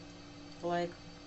лайк